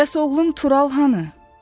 Bəs oğlum Tural hanı?